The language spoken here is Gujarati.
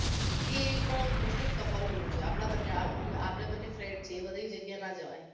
એ તો mostoff કપલોનું જ છે આપડે બન્ને આવ આપડે બન્ને friend છીએ બધી જગ્યાએ ના જવાય